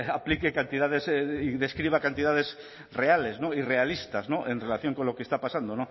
aplique cantidades y describa cantidades reales y realistas en relación con lo que está pasando